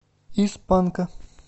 из панка